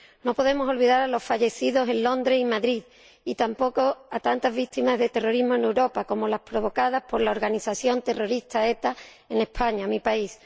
No podemos olvidar a los fallecidos en Londres y Madrid, y tampoco a tantas víctimas del terrorismo en Europa, como las provocadas por la organización terrorista ETA en España, mi país.